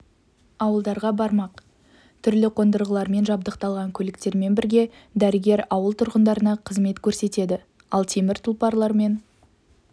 ауылдарға бармақ түрлі қондырғылармен жабдықталған көліктермен бірге дәрігер ауыл тұрғындарына қызмет көрсетеді ал темір тұлпарлармен